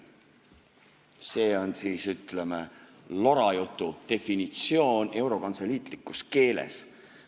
See on siis, ütleme, lorajutu definitsioon eurokantseliitlikus keeles.